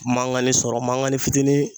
Mankanni sɔrɔ, mankani fitinin.